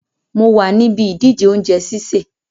Mo wa níbi ìdíje ounje sísè